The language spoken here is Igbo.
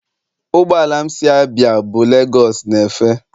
Ụgbọ ala m si Abia bu lagos na-efe.